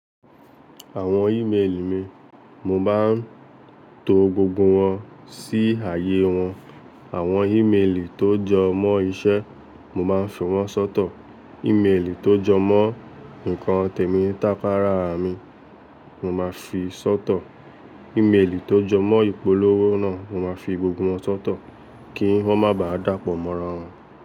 Àwon email mi, mo máa ń to gbogbo won sí ààyè won. Àwon email tó jọ mọ́ isẹ mo máa ń fi won sọ́tọ̀, email tó jọ mọ́ ǹkan tèmi tàpáárà mi mo máa fi sọ́tọ̀, email tó jọ mọ́ ìpolówó náà mo máa fi gbogbo won sọ́tọ̀ kí won má bá dàpọ̀ mọ́ra won.